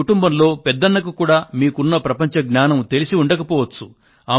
మీ కుటుంబంలో పెద్దన్నకు కూడా మీకున్న ప్రపంచ జ్ఞానం తెలిసి ఉండకపోవచ్చు